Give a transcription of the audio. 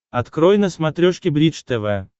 открой на смотрешке бридж тв